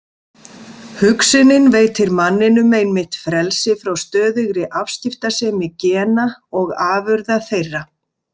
Hugsunin veitir manninum einmitt frelsi frá stöðugri afskiptasemi gena og afurða þeirra.